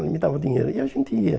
Ele me dava o dinheiro e a gente ia.